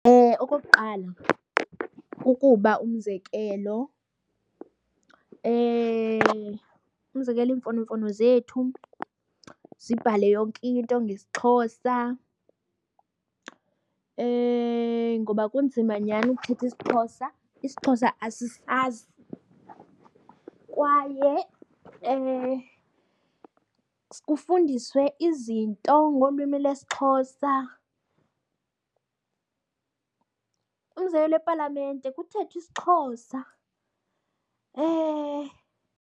Okokuqala kukuba umzekelo, umzekelo iimfonomfono zethu zibhale yonke into ngesiXhosa ngoba kunzima nyhani ukuthetha isiXhosa, isiXhosa asisazi. Kwaye kufundiswe izinto ngolwimi lesiXhosa, umzekelo epalamente kuthethwe isiXhosa .